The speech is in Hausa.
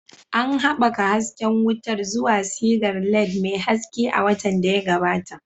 An haɓaka hasken wutar zuwa sigar LED mai haske a watan da ya gabata.